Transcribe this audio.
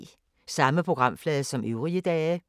Samme programflade som øvrige dage